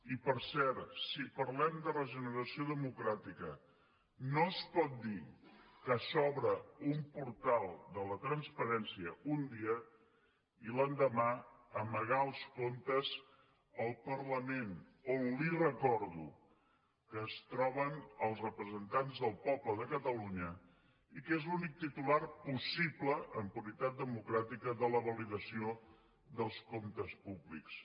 i per cert si parlem de regeneració democràtica no es pot dir que s’obre un portal de la transparència un dia i l’endemà amagar els comptes al parlament on li ho recordo es troben els representants del poble de catalunya i que és l’únic titular possible en puritat democràtica de la validació dels comptes públics